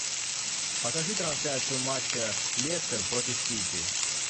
покажи трансляцию матча лестер против сити